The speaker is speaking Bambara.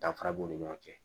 Danfara b'u ni ɲɔgɔn cɛ